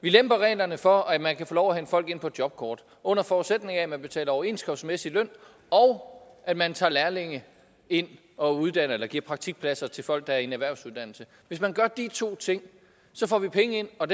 vi lemper reglerne for at man kan få lov at hente folk ind på jobkort under forudsætning af at man betaler overenskomstmæssig løn og at man tager lærlinge ind og giver praktikpladser til folk der er i en erhvervsuddannelse hvis man gør de to ting så får vi penge ind og